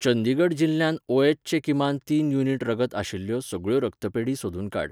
चंदीगड जिल्ल्यांत ओएच चें किमान तीन युनिट रगत आशिल्ल्यो सगळ्यो रगतपेढी सोदून काड